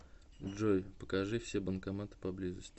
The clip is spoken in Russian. джой покажи все банкоматы поблизости